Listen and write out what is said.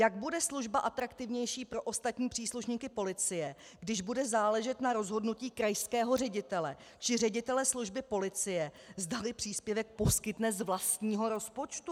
Jak bude služba atraktivnější pro ostatní příslušníky policie, když bude záležet na rozhodnutí krajského ředitele či ředitele služby policie, zdali příspěvek poskytne z vlastního rozpočtu?